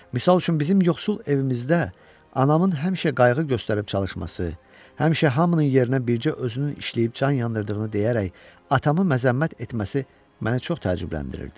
Misal üçün bizim yoxsul evimizdə anamın həmişə qayğı göstərib çalışması, həmişə hamının yerinə bircə özünün işləyib can yandırdığını deyərək atamı məzəmmət etməsi məni çox təəccübləndirirdi.